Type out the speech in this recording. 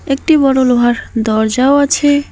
একটি বড়ো লোহার দরজাও আছে।